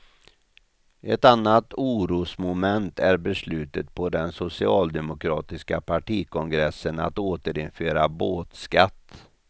Ett annat orosmoment är beslutet på den socialdemokratiska partikongressen att återinföra båtskatt.